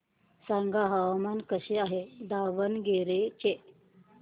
सांगा हवामान कसे आहे दावणगेरे चे